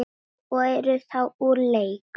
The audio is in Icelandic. og eru þá úr leik.